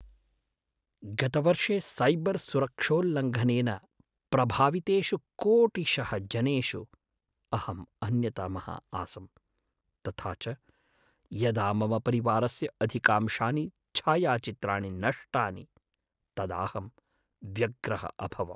गतवर्षे सैबर् सुरक्षोल्लङ्घनेन प्रभावितेषु कोटिशः जनेषु अहम् अन्यतमः आसं, तथा च यदा मम परिवारस्य अधिकांशानि छायाचित्राणि नष्टानि, तदाहं व्यग्रः अभवम्।